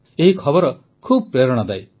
ଏହି ଖବର ଖୁବ ପ୍ରେରଣାଦାୟୀ